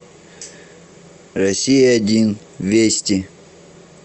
россия один вести